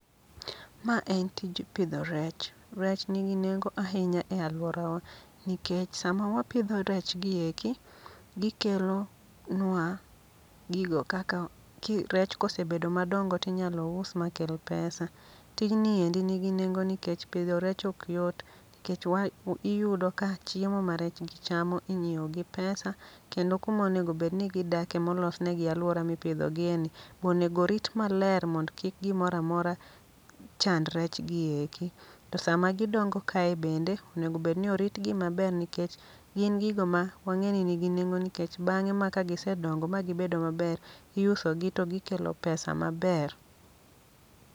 Ma en tij pidho rech, rech nigi nengo ahinya e alwora wa. Nikech sama wapidho rech gieki, gikelo nwa gigo kaka ki rech kosebedo madongo tinyalo us makel pesa. Tinji endi nigi nengo nikech pidho rech ok yot, nikech wa iyudo ka chiemo ma rechgi chamo inyiewo gi pesa, kendo kumonego bedni gidake molosnegi alwora mipidho gie ni, bonego rit maler mondo kik gimora mora chand rech gieki. To sama gidongo kae bende, onegobedni oritgi maber nikech gin gigo ma wang'e ni nigi nengo. Nikech bang'e ma kagise dongo ma gibedo maber, iusogi to gikelo pesa maber.